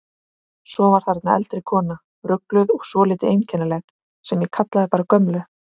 Svo var þarna eldri kona, rugluð og svolítið einkennileg, sem ég kallaði bara gömlu.